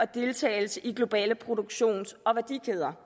deltagelse i globale produktions og værdikæder